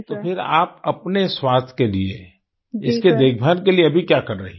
तो फिर आप अपने स्वास्थ्य के लिए इसकी देखभाल के लिए अभी क्या कर रही हैं